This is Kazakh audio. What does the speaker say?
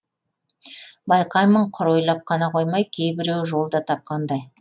байқаймын құр ойлап қана қоймай кейбіреуі жол да тапқандай